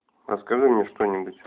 расскажи мне что нбудь